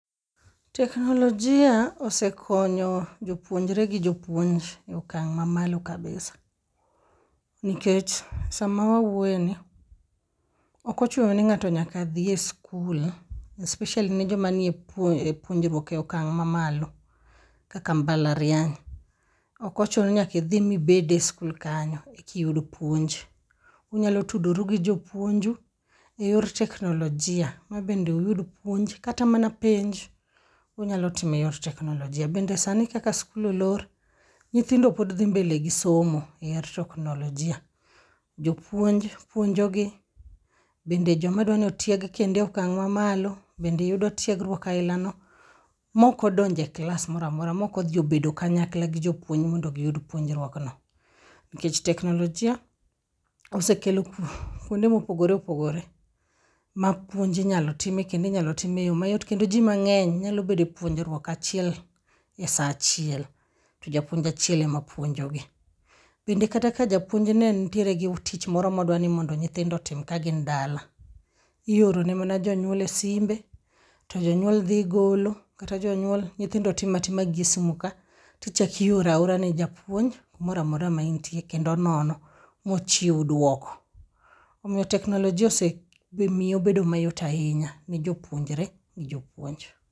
Teknilojia osekonyo jopuonjre gi jopuonj e okang' mamalo kabisa, nikech sama wawuoyeni, ok ochuno ni ng'ato nyaka dhi e skul, especially ne joma nie puonjruok e okang' mamalo kaka mbalariany. Ok ochuno ni nyaka idhi mibed e skul kanyo ekiyud puonj. Unyalo tudori gi jopuonju eyor teknolojia mabende iyud puonj, kata mana penj, unyalo timo eyor teknolojia. Bende sani kaka skul olor, nyithindo pod dhi mbele gi somo eyor teknolojia. Jopuonj puonjogi, bende joma dwa ni otieg e okang' mamalo, bende yudo tiegruok ainano maok odonjo e klas moro amora, maok odhi obedo kanyakla gi jopuonj mondo giyud tiegruokno. Nikech teknolojia osekelo kuonde mopogore opogore mapuonj inyalo time kendo inyalo time eyo mayot, kendo ji mang'eny nyalo bedo e puonjruok achiel esaa achiel, to japuonj achiel ema puonjogi. Bende kata ka japuonj ne nitiere gi tich moro modwa ni mondo nyithindo otim kagin dala, ioro nejonyuol mana esimbe, to jonyuol dhi golo, kata jonyuol nyithindo timo atima gi e simu ka, tichako ioro aora ni japuonj kamoro amora ma entie kendo onono, mochiw duoko. Omiyo teknolojia osemiye obedo mayot ahinya ne jopuonjre gi jopuonj.